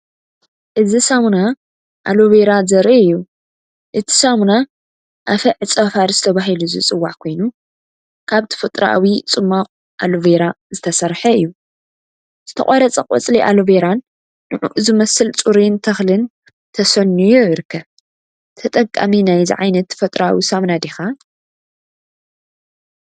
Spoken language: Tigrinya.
እዚ ሳሙና ኣሎቬራ ዘርኢ እዩ። እቲ ሳሙና “ኣፈ ዕጸ-ፋርስ” ተባሂሉ ዝጽዋዕ ኮይኑ፡ ካብ ተፈጥሮኣዊ ጽማቝ ኣሎቬራ ዝተሰርሐ እዩ። ዝተቖርጸ ቆጽሊ ኣሎቬራን ንዕኡ ዝመስል ጽሩይን ተኽልን ተሰንዩ ይርከብ። ተጠቃሚ ናይዚ ዓይነት ተፈጥሮኣዊ ሳሙና ዲኻ?